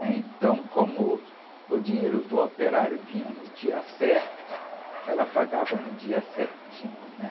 né? Então, como o dinheiro do operário vinha no dia certo, ela pagava no dia certinho.